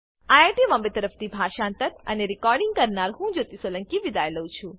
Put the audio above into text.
IIT Bombay તરફથી હું જ્યોતી સોલંકી વિદાય લઉં છું